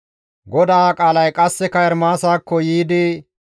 GODAA qaalay qasseka Ermaasakko yiidi,